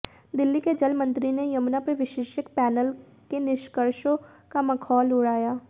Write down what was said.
दिल्ली के जल मंत्री ने यमुना पर विशेषज्ञ पैनल के निष्कर्षों का मखौल उड़ाया